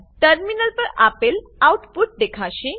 terminal પર આપેલ output દેખાશે